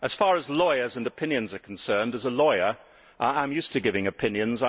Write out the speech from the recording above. As far as lawyers and opinions are concerned, I as a lawyer am used to giving opinions.